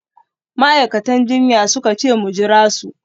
Ma’aikatan jinya suka ce mu jira su